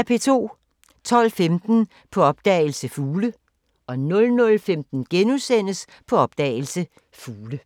12:15: På opdagelse – Fugle 00:15: På opdagelse – Fugle *